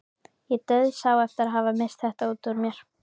Ég dauðsá eftir að hafa misst þetta út úr mér.